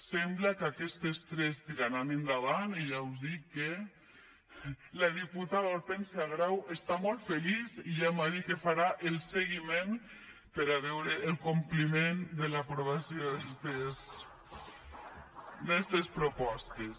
sembla que aquestes tres tiraran endavant i ja us dic que la diputada hortènsia grau està molt feliç i ja m’ha dit que en farà el seguiment per a veure el compliment de l’aprovació d’estes propostes